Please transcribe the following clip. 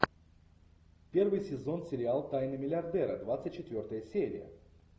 первый сезон сериал тайны миллиардера двадцать четвертая серия